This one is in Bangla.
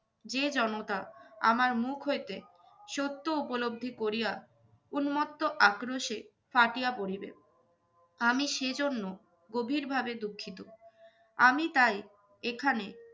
যে জনতা আমার মুখ হইতে সত্য উপলব্ধি করিয়া উন্মত্ত আক্রোশে ফাটিয়া পড়িবে। আমি সে জন্য গভীর ভাবে দুঃখিত। আমি তাই এখানে